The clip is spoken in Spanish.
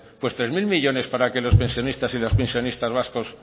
pues tres mil millónes para que los pensionistas y las pensionistas vascos